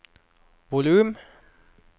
volum